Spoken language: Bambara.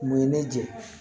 Mun ye ne jɛ